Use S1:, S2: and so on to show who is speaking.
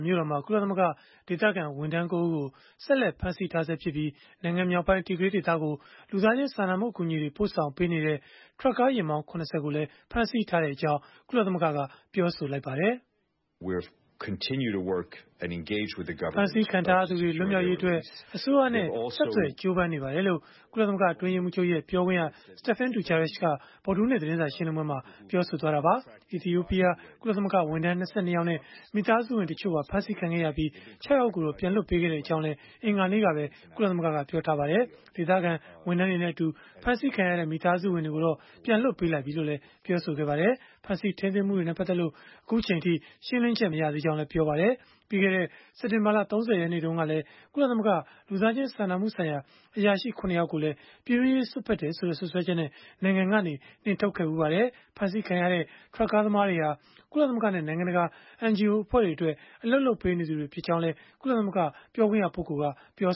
S1: မြို့တော်မှာ ကုလသမဂ္ဂ ဒေသခံဝန်ထမ်း ၉ ဦးကို ဆက်လက် ဖမ်းဆီးထားဆဲဖြစ်ပြီး၊ နိုင်ငံမြောက်ပိုင်း Tigray ဒေသကို လူသားချင်းစာနာမှု အကူအညီတွေ ပို့ဆောင်ပေးနေတဲ့ ထရပ်ကားယာဉ်မောင်း ၇၀ ကိုလည်း ဖမ်းဆီးထားကြောင်း ကုလသမဂ္ဂက ပြောဆိုလိုက်ပါတယ်။
S2: “ဖမ်းဆီးခ
S1: ံထားရသူတွေ လွတ်မြောက်ရေးအတွက် အစိုးရနဲ့ ဆက်သွယ်ကြိုးပမ်းနေပါတယ်။” လို့ ကုလသမဂ္ဂ အတွင်းရေးမှူးချုပ်ရဲ့ ပြောခွင့်ရ Stephane Dujarric က ဗုဒ္ဓဟူးနေ့ သတင်းစာရှင်းလင်းပွဲမှာ ပြောဆိုသွားတာပါ။ အီသီယိုပီးယား ကုလသမဂ္ဂဝန်ထမ်း ၂၂ ယောက်နဲ့ မိသားစုဝင် တချို့ပါ ဖမ်းဆီးခံခဲ့ရပြီး ၆ ယောက်ကိုတော့ ပြန်လွှတ်ပေးခဲ့ကြောင်းလည်း အင်္ဂါနေ့ကပဲ ကုလသမဂ္ဂက ပြောဆိုထားပါတယ်။ ဒေသခံ ဝန်ထမ်းတွေနဲ့အတူ ဖမ်းဆီးခံရတဲ့ မိသားစုဝင်တွေကိုတော့ ပြန်လွှတ်ပေးလိုက်ပြီလို့လည်း ပြောပါတယ်။ ဖမ်းဆီးထိန်းသိမ်းမှုတွေနဲ့ ပတ်သက်လို့ အခုအချိန်အထိ ရှင်းလင်းချက် မရသေးဘူးလို့လည်း ပြောပါတယ်။ ပြီးခဲ့တဲ့စက်တင်ဘာလ ၃၀ ရက်နေ့တုန်းကလည်း ကုလသမဂ္ဂ လူသားချင်း စာနာမှုဆိုင်ရာ အရာရှိ ၇ ယောက်ကိုလည်း ပြည်တွင်းရေး စွက်ဖက်တယ်ဆိုတဲ့ စွပ်စွဲချက်နဲ့ နိုင်ငံကနေ နှင်ထုတ်ခဲ့ဖူးပါတယ်။ ဖမ်းဆီးခံရတဲ့ ထရပ်ကားသမားတွေဟာ ကုလသမဂ္ဂနဲ့ နိုင်ငံတကာ NGOs အဖွဲ့တွေအတွက် အလုပ်လုပ်ပေးနေသူတွေ ဖြစ်ကြောင်းလည်း ကုလသမဂ္ဂ ပြောခွင့်ရပုဂ္ဂိုလ်က ပြော